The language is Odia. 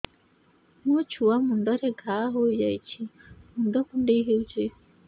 ମୋ ଛୁଆ ମୁଣ୍ଡରେ ଘାଆ ହୋଇଯାଇଛି ମୁଣ୍ଡ କୁଣ୍ଡେଇ ହେଉଛି